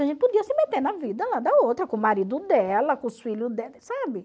A gente podia se meter na vida lá da outra, com o marido dela, com os filhos dela, sabe?